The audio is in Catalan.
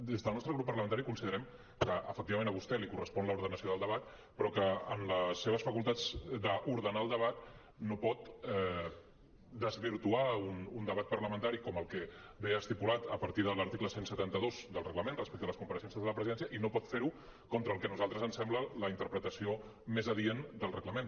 des del nostre grup parlamentari considerem que efectivament a vostè li correspon l’ordenació del debat però que en les seves facultats d’ordenar el debat no pot desvirtuar un debat parlamentari com el que ve estipulat a partir de l’article cent i setanta dos del reglament respecte a les compareixences de la presidència i no pot fer ho contra el que a nosaltres ens sembla la interpretació més adient del reglament